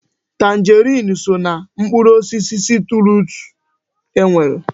Tanjeriini so ná mkpụrụ osisi sitruusu e nwere.